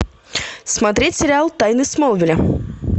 смотреть сериал тайны смолвиля